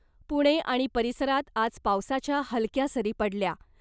पुणे आणि परिसरात आज पावसाच्या हलक्या सरी पडल्या .